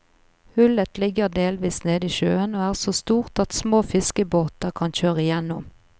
Hullet ligger delvis nede i sjøen og er så stort at små fiskebåter kan kjøre igjennom.